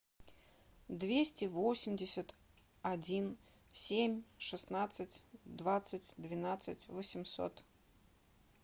двести восемьдесят один семь шестнадцать двадцать двенадцать восемьсот